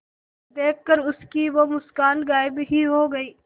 देखकर उसकी वो मुस्कान गायब ही हो गयी